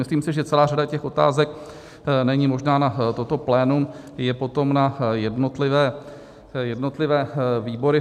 Myslím si, že celá řada těch otázek není možná na toto plénum, je potom na jednotlivé výbory.